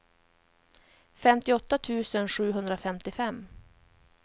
femtioåtta tusen sjuhundrafemtiofem